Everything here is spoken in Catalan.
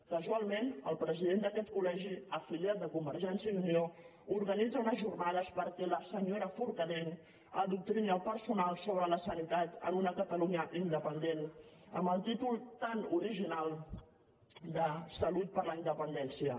casualment el president d’aquest colorganitza unes jornades perquè la senyora forcadell adoctrini el personal sobre la sanitat en una catalunya independent amb el títol tan original de salut per la independència